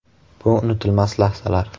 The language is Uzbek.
Bu unutilmas lahzalar.